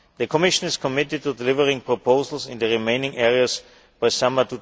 The Commission is committed to delivering proposals in the remaining areas by summer